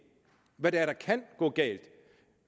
hvad det er der kan gå galt